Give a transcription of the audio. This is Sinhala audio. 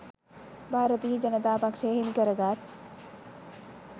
භාරතීය ජනතා පක්ෂය හිමිකර ගත්